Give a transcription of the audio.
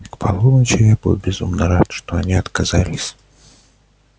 к полуночи я был безумно рад что они отказались